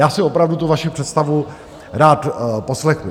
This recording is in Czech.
Já si opravdu tu vaši představu rád poslechnu.